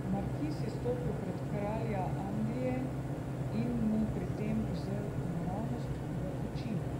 Markiz je stopil pred kralja Anglije in mu pri tem zrl naravnost v oči.